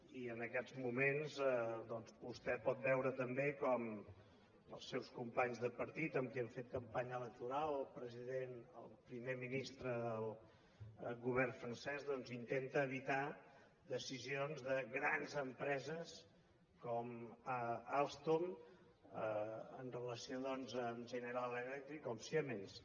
i en aquests moments doncs vostè pot veure també com els seus companys de partit amb qui han fet campanya electoral el primer ministre del govern francès doncs intenta evitar decisions de grans empreses com alstom en relació amb general electric o amb siemens